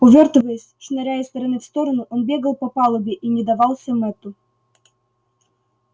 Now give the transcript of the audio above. увёртываясь шныряя из стороны в сторону он бегал по палубе и не давался мэтту